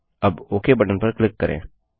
अब OK button पर click करें